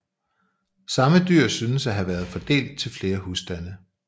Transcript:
Samme dyr synes at have været fordelt til flere husstande